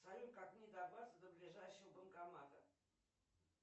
салют как мне добраться до ближайшего банкомата